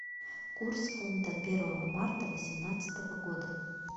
курс фунта первого марта восемнадцатого года